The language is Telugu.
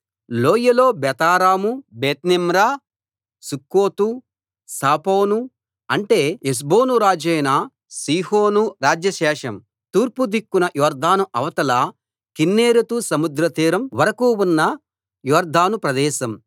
లోయలో బేతారాము బేత్నిమ్రా సుక్కోతు సాపోను అంటే హెష్బోను రాజైన సీహోను రాజ్యశేషం తూర్పు దిక్కున యొర్దాను అవతల కిన్నెరెతు సముద్రతీరం వరకూ ఉన్న యొర్దాను ప్రదేశం